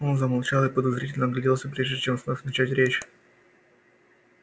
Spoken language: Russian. он замолчал и подозрительно огляделся прежде чем вновь начать речь